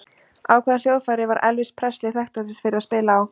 Á hvaða hljóðfæri var Elvis Presley þekktastur fyrir að spila á?